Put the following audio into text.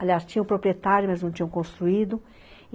Aliás, tinha o proprietário, mas não tinham construído.